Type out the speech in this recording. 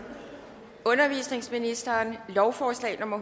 undervisningsministeren lovforslag nummer